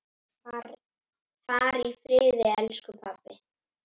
Far í friði, elsku pabbi!